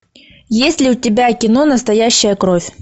есть ли у тебя кино настоящая кровь